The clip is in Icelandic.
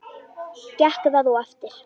Gekk það og eftir.